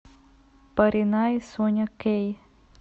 поринай соня кэй